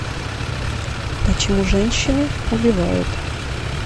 почему женщины убивают